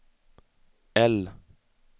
L